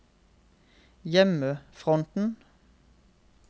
hjemmefronten